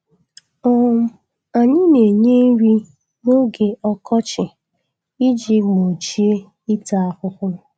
um Anyị na-enye nri n'oge ọkọchị iji gbochie ịta ahụ.